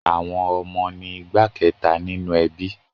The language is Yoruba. Àwọn ọmọ ni igbá kẹta ninu ẹbí.